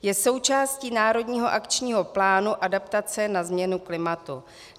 Je součástí Národního akčního plánu adaptace na změnu klimatu.